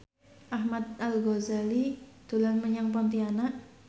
Ahmad Al Ghazali dolan menyang Pontianak